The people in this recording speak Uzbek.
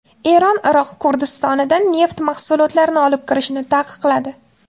Eron Iroq Kurdistonidan neft mahsulotlarini olib kirishni taqiqladi.